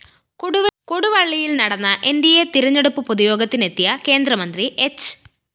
കൊടുവള്ളിയില്‍ നടന്ന NDA തെരഞ്ഞെടുപ്പ് പൊതുയോഗത്തിനെത്തിയ കേന്ദ്രമന്ത്രി ഹ്‌